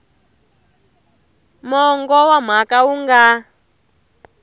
mongo wa mhaka wu nga